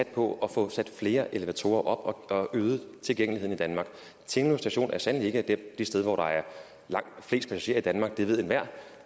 på at få sat flere elevatorer op og øge tilgængeligheden i danmark tinglev station er sandelig ikke det sted hvor der er flest passagerer i danmark det ved enhver